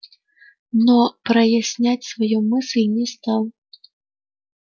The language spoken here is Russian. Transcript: но прояснять свою мысль не стал